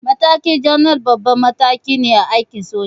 Matakin janar babban mataki ne a aikin soja.